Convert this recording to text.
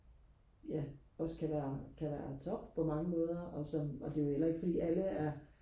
ja også kan være kan være tom på mange måder og som og det er jo heller ikke fordi alle er